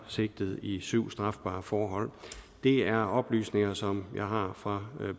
sigtet i syv strafbare forhold det er oplysninger som jeg har fra